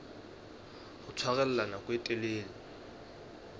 ho tshwarella nako e telele